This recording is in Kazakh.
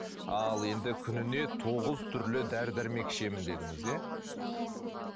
ал енді күніне тоғыз түрлі дәрі дәрмек ішемін дедіңіз иә